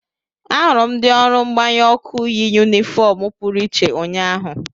Ahụrụ m ndị ọrụ mgbanyụ ọkụ yi yunifọọm pụrụ iche ụnyahụ.